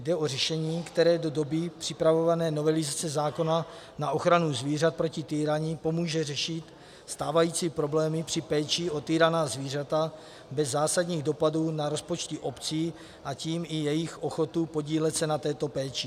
Jde o řešení, které do doby připravované novelizace zákona na ochranu zvířat proti týrání pomůže řešit stávající problémy při péči o týraná zvířata bez zásadních dopadů na rozpočty obcí, a tím i jejich ochotu podílet se na této péči.